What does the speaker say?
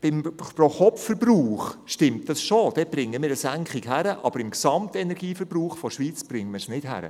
Beim Pro-Kopf-Verbrauch der Schweiz bringen wir also eine Senkung zustande, aber beim Gesamtenergieverbrauch der Schweiz erreichen wir es nicht.